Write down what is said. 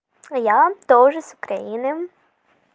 я тоже с украины